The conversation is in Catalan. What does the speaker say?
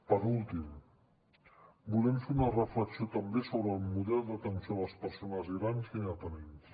per últim volem fer una reflexió també sobre el model d’atenció a les persones grans i dependents